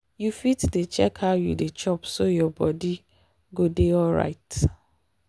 you fit dey check how you dey chop so your body go dey alright.